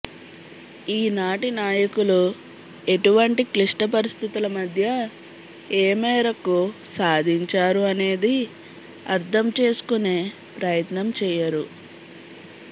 ఈనాటి నాయకులు ఎటువంటి క్లిష్టపరిస్థితుల మధ్య ఏ మేరకు సాధించారు అనేది అర్థం చేసుకునే ప్రయత్నం చేయరు